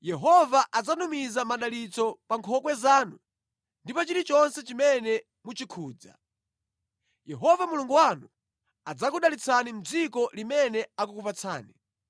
Yehova adzatumiza madalitso pa nkhokwe zanu ndi pa chilichonse chimene muchikhudza. Yehova Mulungu wanu adzakudalitsani mʼdziko limene akukupatsani.